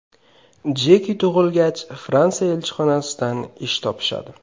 Jeki tug‘ilgach Fransiya elchixonasidan ish topishadi.